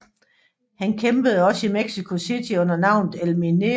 Han kæmpede også i Mexico City under navnet El Minero